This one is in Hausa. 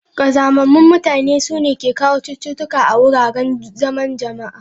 Kazamamun mutane, su ne ke kawo chututuka a wuraren zaman jama'a.